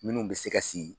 Minnu bɛ se ka sigi